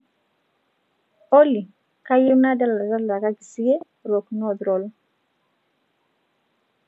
olly kayieu nadala talakaki siye rock north roll